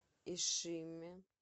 ишиме